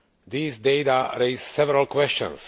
These data raise several questions.